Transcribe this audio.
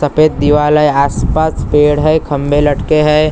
सफ़ेद दीवाल हैं आस पास पेड़ हैं खम्बे लटके हैं अ।